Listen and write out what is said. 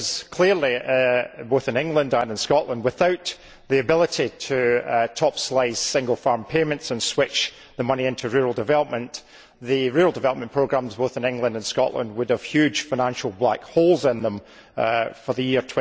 Clearly, both in England and in Scotland, without the ability to top slice single farm payments and switch the money into rural development, the rural development programmes, both in England and Scotland, would have huge financial black holes in them for the year